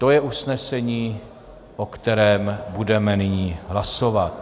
To je usnesení, o kterém budeme nyní hlasovat.